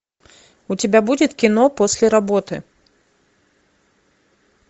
у тебя будет кино после работы